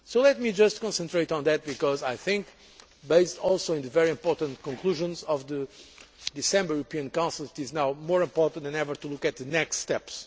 Let me just concentrate on that because I think, based also on the very important conclusions of the December European Council, it is now more important than ever to look at the next steps.